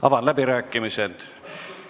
Avan läbirääkimised.